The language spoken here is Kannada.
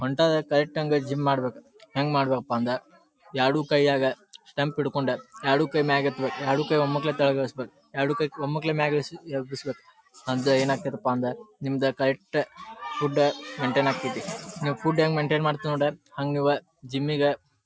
ಹೊಂಟಾದಾಗ ಕರೆಕ್ಟ್ ಹಂಗ್ ಜಿಮ್ ಮಾಡಬೇಕ. ಹೆಂಗ್ ಮಾಡಬೇಕ ಪಾ ಅಂದ್ರ ಎರಡು ಕೈಯಾಗ ಸ್ಟಂಪ್ ಹಿಡ್ಕೊಂಡ ಎರಡು ಕೈ ಮ್ಯಾಕೆತ್ತಬೇಕ ಎರಡು ಕೈ ಒಮ್ಮಾಕ್ಕ್ಲೆ ತೆಳಗ್ ಇಳಿಸಬೇಕ. ಎರಡು ಕೈ ಒಮ್ಮಾಕ್ಕ್ಲೆ ಮ್ಯಾಕ್ಕಿಳ್ಸಿ ಯಬ್ಬಶ್ಬೀಕ್ ಅಂತ ಏನಾಗ್ತಾ ಇತಾಪ ಅಂದ್ರ ನಿಮ್ಮದು ಕರೆಕ್ಟ್ ಫುಡ್ ಮೈನ್ಟೈನ್ ಆಗತೈತಿ. ನೀವು ಫುಡ್ ಹ್ಯಾಂಗ ಮೈನ್ಟೈನ್ ಮಾಡಿತಿರ್ ನೋಡಿ ಹಂಗ ನೀವ ಜಿಮ್ಮ ಇಗ --